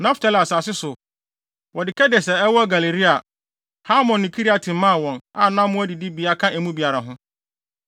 Naftali asase so, wɔde Kedes a ɛwɔ Galilea, Hamon ne Kiriataim maa wɔn, a na mmoa adidibea ka emu biara ho.